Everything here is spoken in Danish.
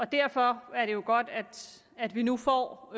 derfor er det jo godt at vi nu får